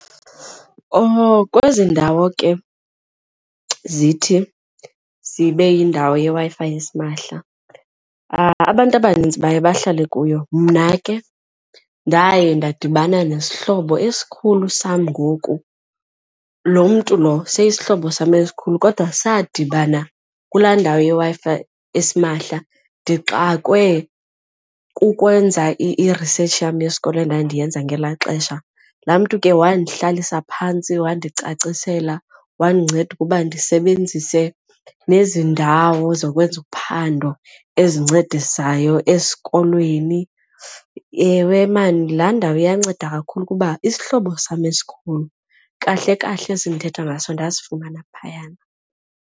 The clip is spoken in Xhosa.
Kwezi ndawo ke zithi zibe yindawo yeWi-Fi esimahla abantu abanintsi baye bahlale kuyo. Mna ke ndaye ndadibana nesihlobo esikhulu sam ngoku, lo mntu lo seyisisihlobo sam esikhulu kodwa sadibana kulaa ndawo yeWi-Fi esimahla ndixakwe kukwenza ii-research yam yesikolo endandiyenza ngelaa xesha. Laa mntu ke wandihlalisa phantsi wandicacisela wandinceda ukuba kum ndisebenzise nezi ndawo zokwenza uphando ezincedisayo esikolweni. Ewe, maan laa ndawo iyanceda kakhulu kuba isihlobo sam esikhulu, kahle kahle esi ndithetha ngaso, ndasifumana phayana.